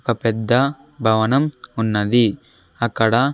ఒక పెద్ద భవనం ఉన్నది అక్కడ--